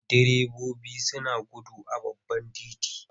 Direbobi suna gudu a babban titi.